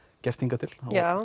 gert hingað til og